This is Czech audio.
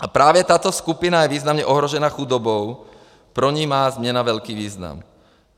A právě tato skupina je významně ohrožena chudobou, pro ni má změna velký význam.